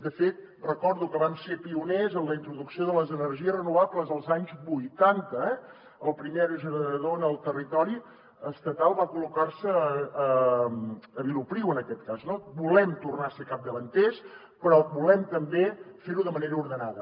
de fet recordo que vam ser pioners en la introducció de les energies renovables als anys vuitanta eh el primer aerogenerador en el territori estatal va col·locar se a vilopriu en aquest cas no volem tornar a ser capdavanters però volem també fer ho de manera ordenada